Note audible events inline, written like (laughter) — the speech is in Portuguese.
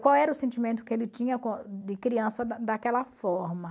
Qual era o sentimento que ele tinha (unintelligible) de criança da daquela forma.